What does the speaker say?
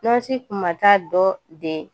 Nɔnsi kuma taa dɔ de